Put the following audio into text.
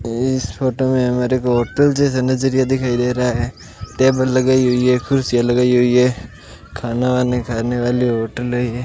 इस फोटो में हमारे को होटल जैसा नजरिया दिखाई दे रहा है टेबल लगाई हुई है कुर्सियां लगाई हुई है खाना वाना खाने वाली होटलें है ये --